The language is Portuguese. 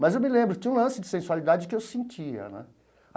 Mas eu me lembro que tinha um lance de sensualidade que eu sentia né.